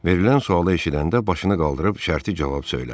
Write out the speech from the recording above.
Verilən sualı eşidəndə başını qaldırıb şərti cavab söylədi.